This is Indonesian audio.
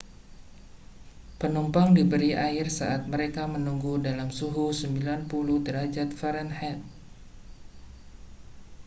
penumpang diberi air saat mereka menunggu dalam suhu 90 derajat fahrenheit